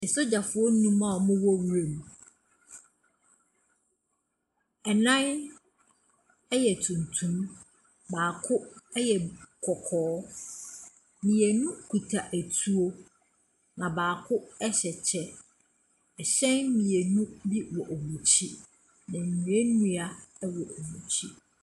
Sogyafoɔ nnum a ɔmo wɔ nwura mu. Ɛnan ɛyɛ tuntum, baako ɛyɛ kɔkɔɔ. Mmienu kuta etuo, baako ɛhyɛ kyɛ. ɛhyɛn mmienu bi wɔ wɔn ɛkyi. Nnuenua wɔ wɔn ɛkyi.